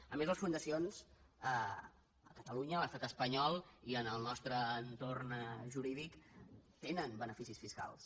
a més les fundacions a catalunya a l’estat espanyol i en el nostre entorn jurídic tenen beneficis fiscals